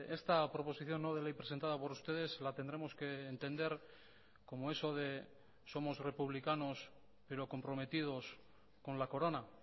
esta proposición no de ley presentada por ustedes la tendremos que entender como eso de somos republicanos pero comprometidos con la corona